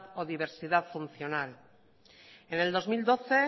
o diversidad funcional en el dos mil doce